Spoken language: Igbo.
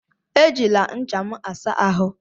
Ejila ncha m a saa ahụ!